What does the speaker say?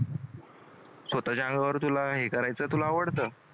स्वतःच्या अंगावर तुला हे करायचं तुला आवडतं?